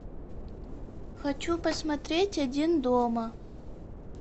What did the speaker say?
хочу посмотреть один дома